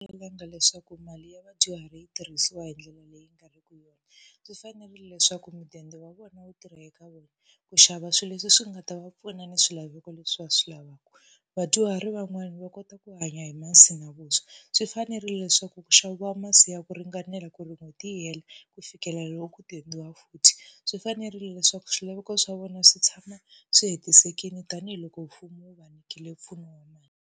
Talanga leswaku mali ya vadyuhari yi tirhisiwa hi ndlela leyi nga ri ki yona. Swi fanerile leswaku mudende wa vona wu tirha eka vona, ku xava swilo leswi swi nga ta va pfuna ni swilaveko leswi va swi lavaka. Vadyuhari van'wana va kota ku hanya hi masi na vuswa, swi fanerile leswaku ku xaviwa masi ya ku ringanela ku ri n'hweti yi hela ku fikela loko ku dendiwa futhi. Swi fanerile leswaku swilaveko swa vona swi tshama swi hetisekile tanihiloko mfumo wu va nyikile mpfuno wa mali.